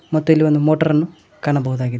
ಮತ್ತೆ ಇಲ್ಲಿ ಒಂದು ಮೋಟಾರ್ ಅನ್ನು ಕಾಣಬಹುದಾಗಿದೆ.